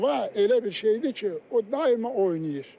Hava elə bir şeydir ki, o daima oynayır.